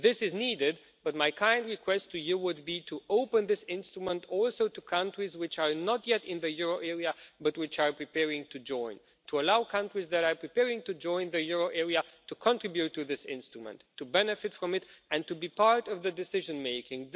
This is needed, but my kind request to you would be to open this instrument also to countries which are not yet in the euro area but which are preparing to join, to allow countries that are preparing to join the euro area to contribute to this instrument, to benefit from it and to be part of the decision making.